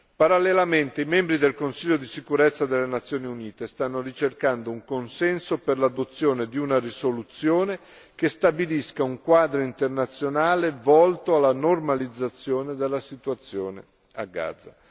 Parallelamente, i membri del Consiglio di sicurezza delle Nazioni Unite stanno ricercando un consenso per l'adozione di una risoluzione che stabilisca un quadro internazionale volto alla normalizzazione della situazione a Gaza.